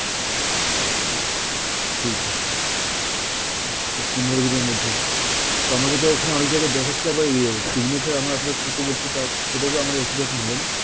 আচ্ছা ঠি~ ঠিক আছে, আচ্ছা তো পনেরো দিনের মধ্যে তো আমাকে তো এখানে অনেক জায়গায় দেখাচ্ছে আবার ইয়ে signature আমার upload করতে বলছে তো সেটা তো আমার একই রকম হল না!